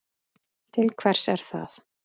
Til hvers er það?